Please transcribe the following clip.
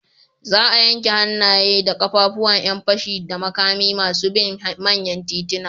Za a yanke hannaye da ƙafafun ƴan fashi da makami na masu bin manyan tituna.